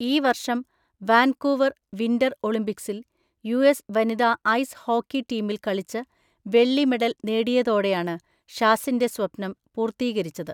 ഈ വർഷം Vancouver winter ഒളിമ്പിക്‌സിൽ യുഎസ് വനിതാ ഐസ് ഹോക്കി ടീമിൽ കളിച്ച്, വെള്ളി മെഡൽ നേടിയതോടെയാണ് ഷാസിന്റെ സ്വപ്നം പൂർത്തീകരിച്ചത്.